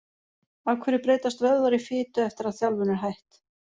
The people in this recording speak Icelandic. Af hverju breytast vöðvar í fitu eftir að þjálfun er hætt?